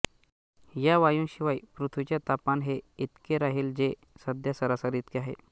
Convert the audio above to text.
या वायूंशिवाय पृथ्वीचे तापमान हे इतके राहील जे सध्या सरासरी इतके आहे